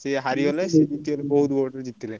ସିଏ ହାରିଗଲେ ସିଏ ଜିତିଗଲେ ବହୁତ୍ vote ରେ ଜିତିଲେ।